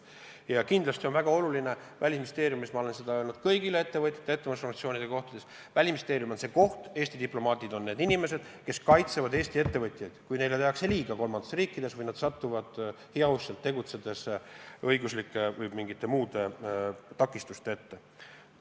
Ja kindlasti on väga oluline – Välisministeeriumis ma olen seda öelnud kõigile, kui olen ettevõtlusorganisatsioonidega kohtunud –, et Välisministeerium, Eesti diplomaadid kaitsevad Eesti ettevõtjaid, kui neile tehakse liiga kolmandates riikides või nad satuvad heauskselt tegutsedes õiguslike või mingite muude takistuste ette.